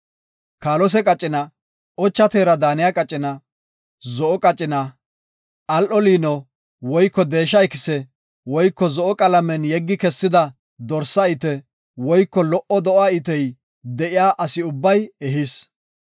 Kaalose qacina, ocha teera daaniya qacina, zo7o qacina, al7o liino, woyko deesha ikise, woyko zo7o qalamen yeggi kessida dorsa ite woyko, lo77o do7a itey de7iya asi ubbay ehis.